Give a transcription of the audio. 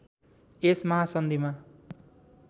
यस महासन्धिमा